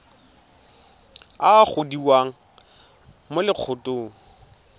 a a gogiwang mo lokgethong